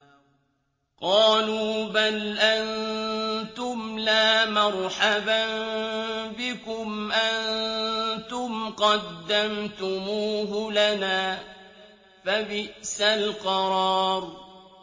قَالُوا بَلْ أَنتُمْ لَا مَرْحَبًا بِكُمْ ۖ أَنتُمْ قَدَّمْتُمُوهُ لَنَا ۖ فَبِئْسَ الْقَرَارُ